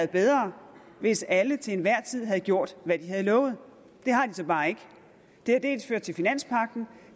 bedre hvis alle til enhver tid havde gjort hvad de havde lovet det har de så bare ikke det har dels ført til finanspagten